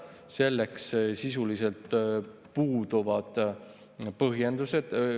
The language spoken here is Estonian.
Selleks sisuliselt puuduvad põhjendused.